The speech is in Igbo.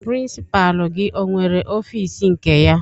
Pirinsipalu gị o nwere ọfiisi nke ya?